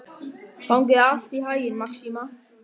Gangi þér allt í haginn, Maxima.